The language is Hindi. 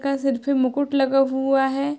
का सर पे मुकुट लगा हुआ है।